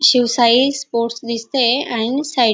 Shivshahi sports दिसतंय आणि side --